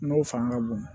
N'o fanga ka bon